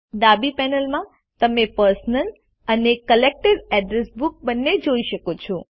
ડાબી પેનલમાં તમે પર્સનલ અને કલેક્ટેડ અડ્રેસ બુક્સ બંને જોઈ શકો છો